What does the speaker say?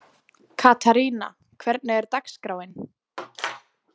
Katharina, hvernig er dagskráin?